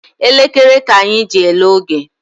Elekere ka anyị ji ele oge